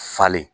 Falen